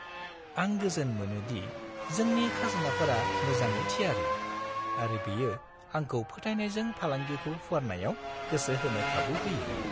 आं गोजोन मोनो दि जोंनि खाजोनाफोरा मोजाङै थियारि, आरो बियो आंखौ फोथायनायजों फालांगिखौ फुवारनायाव गोसो होनो खाबु होयो।